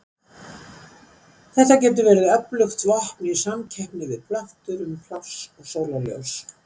þetta getur verið öflugt vopn í samkeppni við plöntur um pláss og sólarljós